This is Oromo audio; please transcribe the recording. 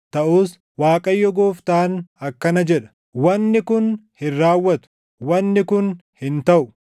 Taʼus Waaqayyo Gooftaan akkana jedha: “ ‘Wanni kun hin raawwatu; wanni kun hin taʼu;